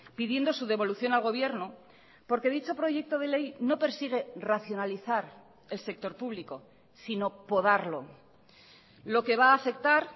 pidiendo su devolución al gobierno porque dicho proyecto de ley no persigue racionalizar el sector público sino podarlo lo que va a afectar